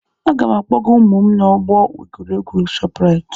Aga m akpọga ụmụ m n'ọgbọ egwuregwu Shoprite.